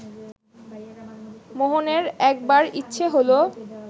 মোহনের একবার ইচ্ছে হলো